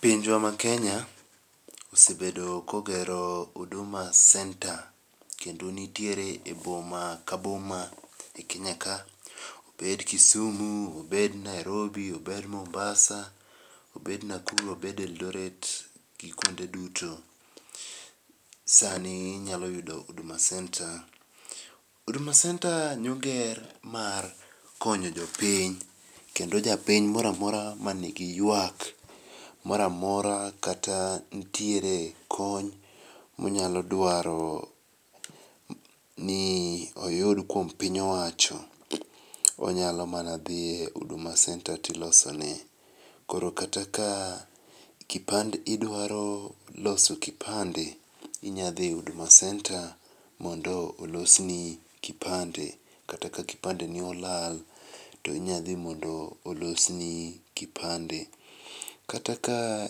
Pinjwa ma Kenya, osebedo kogero huduma centre kendo nitiere e boma ka boma e Kenya ka obed Kisumu, obed Nairobi, obed Mombasa, obed Nakuru, obed Eldoret gi kuonde duto sani inyalo yudo huduma centre. Huduma centre nyoger mar konyo jopiny ,kendo japiny moro amora ma nigi ywak moro amora kata nitiere kony ma onyalo dwaro ni oyud kuom piny owacho, onyalo mana dhie huduma centre tilosone. Koro kata ka kipande, idwaro loso kipande inya dhi huduma centre mondo olosni kipande kata ka kipandeni olal to inya dhi mondo olosni kipande. Kata ka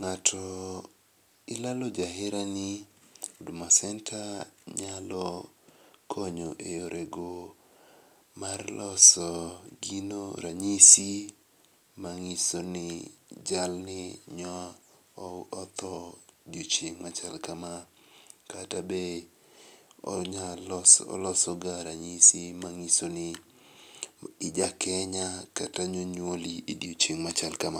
ng'ato ilalo jaherani, huduma centre nyalo konyo e yorego mar loso gino ranyisi manyiso ni jalni nyo otho odiochieng' machal kama kata be onyaloso, olosoga ranyisi manyiso ni ijakenya kata nonywoli odiochieng' machal kama.